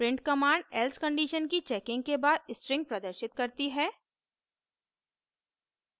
print command else condition की checking के बाद string प्रदर्शित करती है